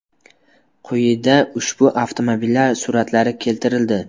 Quyida ushbu avtomobillar suratlari keltirildi.